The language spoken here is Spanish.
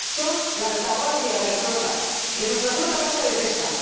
Son la retaguardia de la flota, de nuestra flota vasca de pesca.